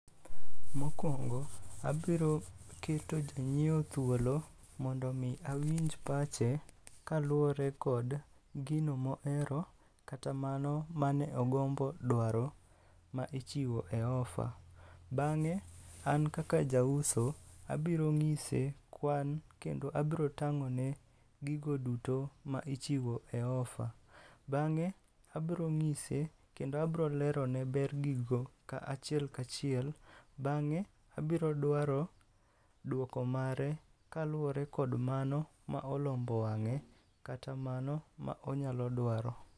Mokwongo abiro keto janyiewo thuolo mondo mi awinj pache kaluwore kod gino mohero, kata mano mane ogombo dwaro ma ichiwo e ofa. Bang'e, an kaka ja uso, abiro ng'ise kwan kendo abro tang'one gigo duto ma ichiwo e ofa. Bang'e, abro ng'ise kendo abro lerone ber gigo ka achiel kachiel. Bang'e, abro dwaro duoko mare kaluwore kod mano ma olombo wang'e kata mano ma onyalo dwaro.